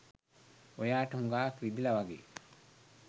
ඔයාට හුගාක් රිදිලා වගේ!